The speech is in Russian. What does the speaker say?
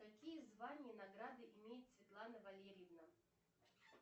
какие звания и награды имеет светлана валерьевна